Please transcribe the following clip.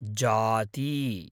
जाती